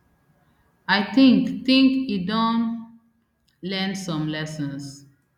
i think think e don learn some lessons